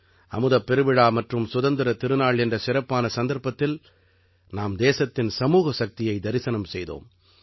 அமுதப் பெருவிழா மற்றும் சுதந்திரத் திருநாள் என்ற சிறப்பான சந்தர்ப்பத்தில் நாம் தேசத்தின் சமூக சக்தியை தரிசனம் செய்தோம்